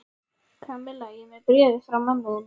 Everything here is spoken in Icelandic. Kamilla, ég er með bréfið frá mömmu þinni.